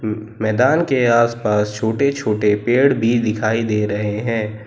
मैदान के आस पास छोटे छोटे पेड़ भी दिखाई दे रहे हैं।